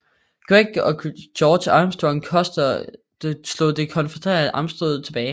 Gregg og George Armstrong Custer slog det konfødererede fremstød tilbage